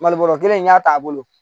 Mali bɔrɔ kelen n'a t'a bolo